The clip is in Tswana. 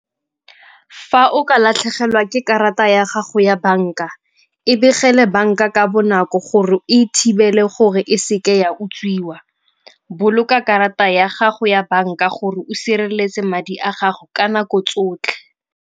Fa o ka latlhegelwa ke karata ya gago ya banka e begele banka ka bonako gore e e thibele gore e seke ya utswiwa. Boloka karata ya gago ya banka gore o sireletse madi a gago ka nako tsotlhe.